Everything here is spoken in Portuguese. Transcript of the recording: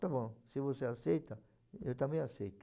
Está bom, se você aceita, eu também aceito.